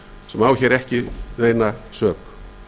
sem á hér ekki neina sök